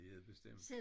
Det er det bestemt